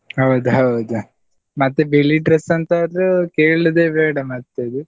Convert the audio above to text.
ಹೌದ್ ಹೌದು, ಮತ್ತೆ ಬಿಳಿ dress ಅಂತ್ ಆದ್ರು ಕೇಳುದೆ ಬೇಡ ಮತ್ ಅದು.